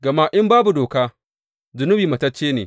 Gama in babu doka, zunubi matacce ne.